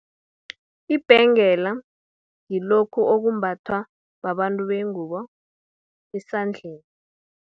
Ibhengela, ngilokhu okumbathwa, babantu bengubo esandleni.